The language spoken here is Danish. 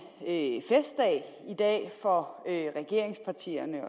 en festdag i dag for regeringspartierne